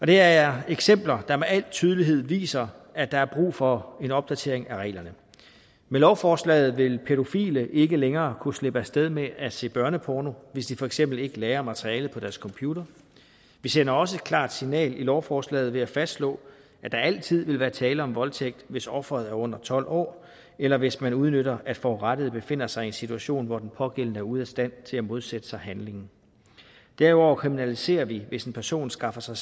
det er eksempler der med al tydelighed viser at der er brug for en opdatering af reglerne med lovforslaget vil pædofile ikke længere kunne slippe af sted med at se børneporno hvis de for eksempel ikke lagrer materialet på deres computer vi sender også et klart signal med lovforslaget ved at fastslå at der altid vil være tale om voldtægt hvis offeret er under tolv år eller hvis man udnytter at forurettede befinder sig i en situation hvor den pågældende er ude af stand til at modsætte sig handlingen derudover kriminaliserer vi hvis en person skaffer sig